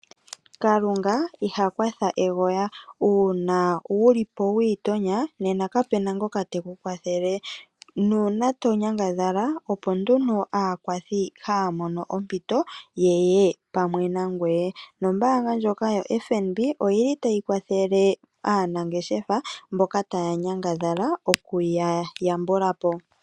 Kalunga iha kwatha egoya, una wulipo wiitonya, nena kapena ngoka teku kwathele, nuuna to nyangadhala opo nduno aakwathi haya mono ompito yeye pamwe nangoye. Nombaanga ndjoka yoFNB, oyili tayi kwathele aanangeshefa mboka taya nyangadhala, oku ya yambula po.